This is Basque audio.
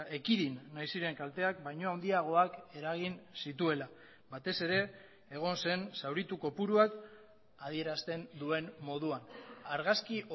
ekidin nahi ziren kalteak baino handiagoak eragin zituela batez ere egon zen zauritu kopuruak adierazten duen moduan argazki